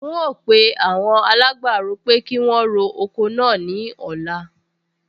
N óò pe awon alágbàro pé kí wọn ro oko náà ní ọ̀la